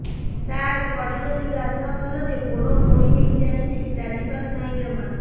ସାର ପଡ଼ିଗଲି ଗାଧୁଆଘରେ ଗୋଡ ମୋଡି ହେଇଯାଇଛି ଚାଲିପାରୁ ନାହିଁ ଜମା